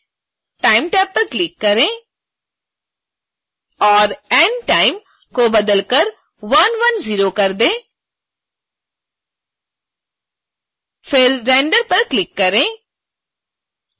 time tab पर click करें और end time को बदलकर 110 कर दें फिर render पर क्लिक करें